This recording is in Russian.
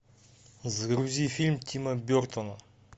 загрузи фильм тима бертона